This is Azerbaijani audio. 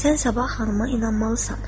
Sən sabah xanıma inanmalısan.